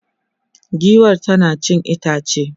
giwar tana cin itace